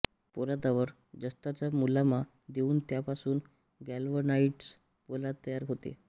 पोलादावर जस्ताचा मुलामा देऊन त्यापासून ग्लॅल्व्हनाईझ्ड पोलाद तयार होते